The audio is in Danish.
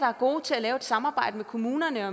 er gode til at lave et samarbejde med kommunerne